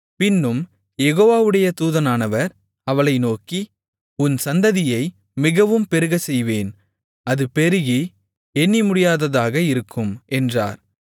பின்னும் யெகோவாவுடைய தூதனானவர் அவளை நோக்கி உன் சந்ததியை மிகவும் பெருகச்செய்வேன் அது பெருகி எண்ணிமுடியாததாக இருக்கும் என்றார்